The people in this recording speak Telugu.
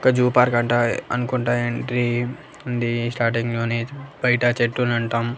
ఒక జూ పార్క్ అంట అనుకుంటా ఎంట్రీ ఉంది స్టార్ట్ అయ్యింది బయట చెట్టుని అంటం.